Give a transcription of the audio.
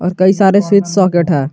कई सारे switch socket है।